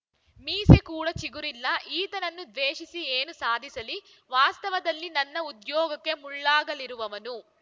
ಮೀಸೆ ಕೂಡ ಚಿಗುರಿಲ್ಲ ಈತನನ್ನು ದ್ವೇಷಿಸಿ ಏನು ಸಾಧಿಸಲಿ ವಾಸ್ತವದಲ್ಲಿ ನನ್ನ ಉದ್ಯೋಗಕ್ಕೆ ಮುಳ್ಳಾಗಲಿರುವವನು